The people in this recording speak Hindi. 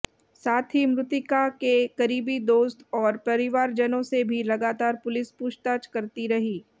साथ ही मृतिका के करीबी दोस्त और परिवारजनों से भी लगातार पुलिस पूछताछ करती रही